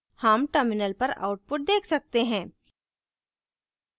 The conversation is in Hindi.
हम terminal पर output देख सकते हैं